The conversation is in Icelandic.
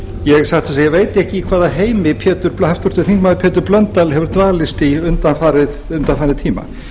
ég satt að segja veit ekki í hvaða heimi háttvirtur þingmaður pétur blöndal hefur dvalist í undanfarinn tíma